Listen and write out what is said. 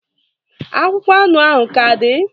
akwụkwọ anụ ahụ ka dị?